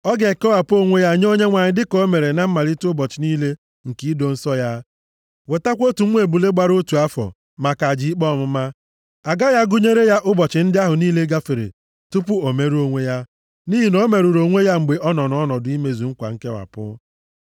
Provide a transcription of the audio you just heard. Ọ ga-ekewapụ onwe ya nye Onyenwe anyị dịka o mere na mmalite ụbọchị niile nke ido nsọ ya. Wetakwa otu nwa ebule gbara otu afọ maka aja ikpe ọmụma. A gaghị agụnyere ya ụbọchị ndị ahụ niile gafere tupu o merụọ onwe ya, nʼihi na o merụrụ onwe ya mgbe ọ nọ ọnọdụ imezu nkwa nkewapụ.